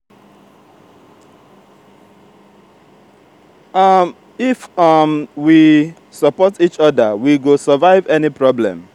if um we support each oda we go survive any problem.